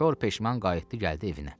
Kor peşman qayıtdı gəldi evinə.